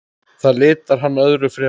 Það litar hann öðru fremur.